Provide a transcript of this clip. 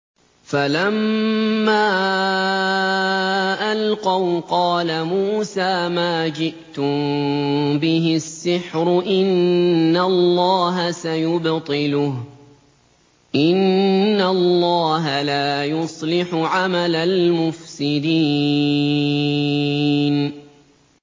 فَلَمَّا أَلْقَوْا قَالَ مُوسَىٰ مَا جِئْتُم بِهِ السِّحْرُ ۖ إِنَّ اللَّهَ سَيُبْطِلُهُ ۖ إِنَّ اللَّهَ لَا يُصْلِحُ عَمَلَ الْمُفْسِدِينَ